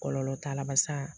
Kɔlɔlɔ t'a la barisa